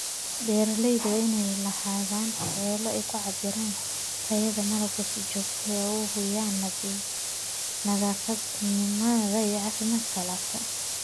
Beeralayda waa inay lahaadaan xeelado ay ku cabbiraan tayada malabka si joogto ah si loo hubiyo nadiifnimada iyo caafimaadka alaabta.